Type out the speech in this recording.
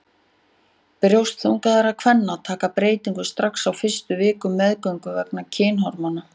Brjóst þungaðra kvenna taka breytingum strax á fyrstu vikum meðgöngu vegna kynhormóna.